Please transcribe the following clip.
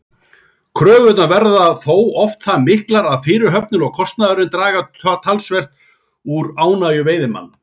Kröfurnar verða þó oft það miklar að fyrirhöfnin og kostnaðurinn draga töluvert úr ánægju veiðimanna.